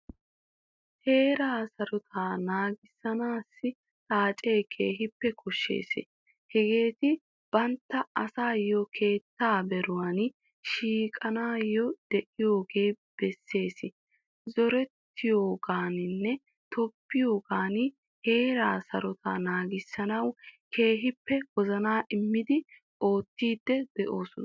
Heeraa sarotettaa naagisanawu xaacce keehippe koshshees. Hageeti bantta aysso keettaa beeruwan shiiquwaan deiyogaa besees. Zoorettiyogannine tobbiyogan heeraa sarotetta naagissanawu keehippe wozana immidi oottidi deosona.